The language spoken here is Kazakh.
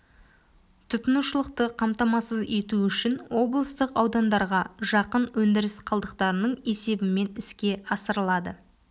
тұтынушылықты қамтамасыз ету үшін облыстық аудандарға жақын өндіріс қалдықтарының есебімен іске асырылады